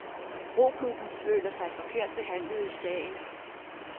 Roklubben føler sig forkert behandlet i sagen.